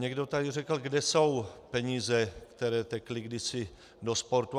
Někdo tady řekl: Kde jsou peníze, které tekly kdysi do sportu?